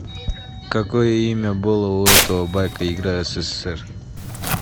какое имя было у этого байка игра ссср